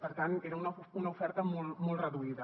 per tant era una oferta molt molt reduïda